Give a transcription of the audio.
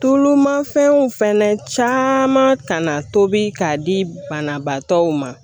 Tulu ma fɛnw fɛnɛ caman tobi k'a di banabaatɔw ma